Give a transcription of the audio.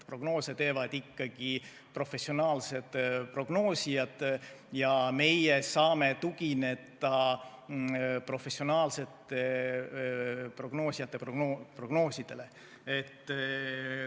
Prognoose teevad ikkagi professionaalsed prognoosijad ja meie saame tugineda professionaalsete prognoosijate prognoosidele.